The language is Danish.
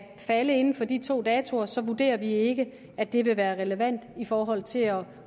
falde inden for de to datoer så vurderer vi ikke at det vil være relevant i forhold til at